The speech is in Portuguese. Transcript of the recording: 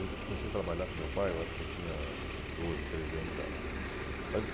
Eu comecei a trabalhar com meu pai, eu acho que eu tinha doze, treze anos de idade. Mais